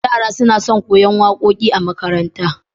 Yara suna son koyan waƙoƙi a makaranta